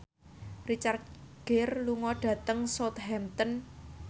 Richard Gere lunga dhateng Southampton